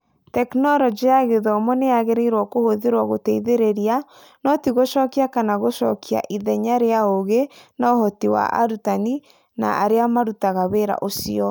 Tekinoronji ya Gĩthomo nĩ yagĩrĩirwo kũhũthĩrũo gũteithĩrĩria, no ti gũcokia kana gũcokia ithenya rĩa ũũgĩ na ũhoti wa arutani na arĩa marutaga wĩra ũcio.